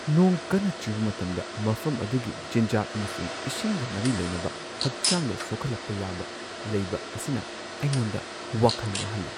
ꯅꯣꯡ ꯀꯟꯅ ꯆꯨꯕ ꯃꯇꯝꯗ ꯃꯐꯝ ꯑꯗꯨꯒꯤ ꯆꯤꯟꯖꯥꯛ ꯑꯃꯁꯨꯡ ꯏꯁꯤꯡꯒ ꯃꯔꯤ ꯂꯩꯅꯕ ꯍꯛꯆꯥꯡꯗ ꯁꯣꯛꯍꯜꯂꯛꯄ ꯌꯥꯕ ꯂꯩꯕ ꯑꯁꯤꯅ ꯑꯩꯉꯣꯟꯗ ꯋꯥꯈꯜ ꯋꯥꯍꯜꯂꯤ ꯫